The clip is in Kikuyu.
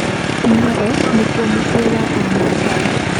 Narok nĩkuo mũciĩ wa a maathai.